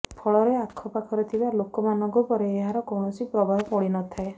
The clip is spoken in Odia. ଫଳରେ ଆଖପାଖରେ ଥିବା ଲୋକମାନଙ୍କ ଉପରେ ଏହାର କୌଣସି ପ୍ରଭାବ ପଡ଼ି ନ ଥାଏ